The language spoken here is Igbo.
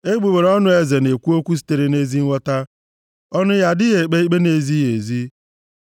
Egbugbere ọnụ eze na-ekwu okwu sitere na-ezi nghọta, ọnụ ya adịghị ekpe ikpe na-ezighị ezi.